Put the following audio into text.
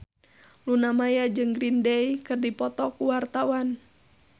Luna Maya jeung Green Day keur dipoto ku wartawan